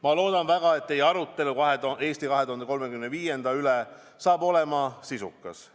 Ma loodan väga, et teie arutelu "Eesti 2035" üle saab olema sisukas.